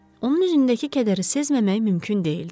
Onun üzündəki kədəri sezməmək mümkün deyildi.